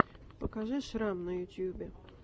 покажи шрам на ютюбе